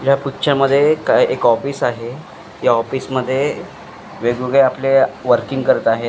या पिक्चर मध्ये एक एक ऑफिस आहे या ऑफिस मध्ये वेगवेगळे आपले वर्किंग करत आहे.